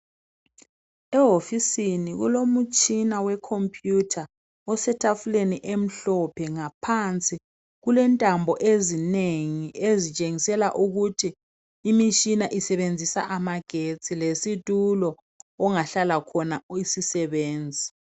Ehofisini kulomutshina wecomputer osetafuleni emhlophe ngaphansi kulentambo ezinengi ,ezitshengisela ukuthi imitshina isebenzisa amagetsi. Lesitulo okungahlala khona isisebenzi.